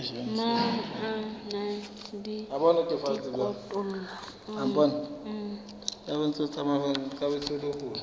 mang a na le dikotola